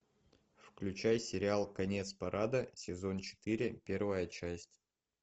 включай сериал конец парада сезон четыре первая часть